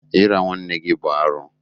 Ira nwanne gị bụ arụ.